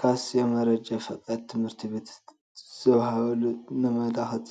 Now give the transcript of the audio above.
ካስ የመነጃ ፈቃድ ትምህርት ዘወሃበሉ ነመልከት